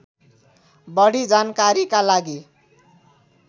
बढी जानकारीका लागि